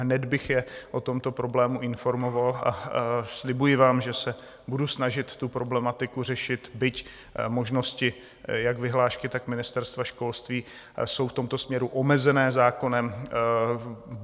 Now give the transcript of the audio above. Hned bych je o tomto problému informoval a slibuji vám, že se budu snažit tu problematiku řešit, byť možnosti jak vyhlášky, tak Ministerstva školství jsou v tomto směru omezené zákonem.